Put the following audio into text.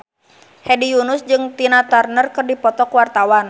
Hedi Yunus jeung Tina Turner keur dipoto ku wartawan